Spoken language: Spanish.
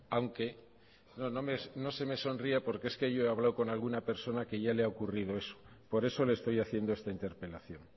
aunque no no se me sonría porque es que yo he hablado con alguna persona que ya le ha ocurrido eso por eso le estoy haciendo esta interpelación